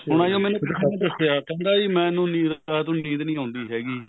ਹੁਣ ਕਹਿੰਦਾ ਜੀ ਮੈਨੂੰ ਨੀਂਦ ਰਾਤ ਨੂੰ ਨੀਂਦ ਨਹੀਂ ਆਉਂਦੀ ਹੈਗੀ